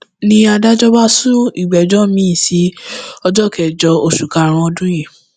ni adájọ bá sún ìgbẹjọ miín sí ọjọ kẹjọ oṣù karùnún ọdún yìí